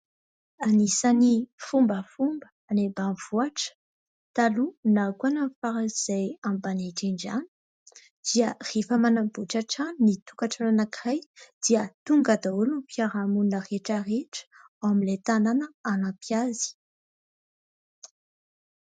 Anisan'ny fombafomba any ambanivohitra taloha, na koa any amin'ny faran'izay ambany indrindra any dia rehefa manamboatra trano ny tokantrano anankiray dia tonga daholo ny mpiara-monina rehetra rehetra ao amin'ilay tanàna hanampy azy.